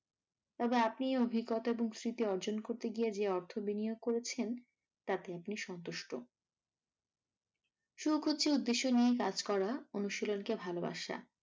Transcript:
তবে আপনি এ অভিজ্ঞতা এবং স্মৃতি অর্জন করতে গিয়ে যে অর্থ বিনিয়োগ করেছেন তাতে আপনি সন্তুষ্ট। শুরু করছি উদ্দেশ্য নিয়ে কাজ করা অনুশীলন কে ভালোবাসা।